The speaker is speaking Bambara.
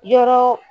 Yɔrɔ